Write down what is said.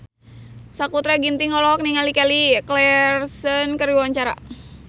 Sakutra Ginting olohok ningali Kelly Clarkson keur diwawancara